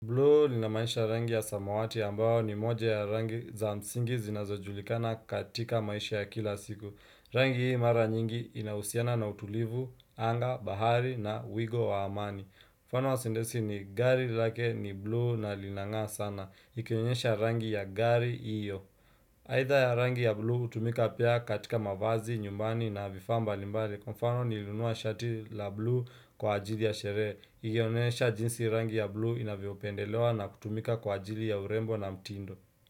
Blue linamaanisha rangi ya samawati ambayo ni moja ya rangi za msingi zinazojulikana katika maisha ya kila siku. Rangi hii mara nyingi inahusiana na utulivu, anga, bahari na wigo wa amani. Mfano wa sendesi ni gari lake ni blue na linang'aa sana. Ikionyesha rangi ya gari iyo. Aidha ya rangi ya blue hutumika pia katika mavazi, nyumbani na vifaa mbalimbali. Kwa mfano nilinunua shati la blue kwa ajili ya sherehe. Ilionesha jinsi rangi ya blue inavyopendelewa na kutumika kwa ajili ya urembo na mtindo.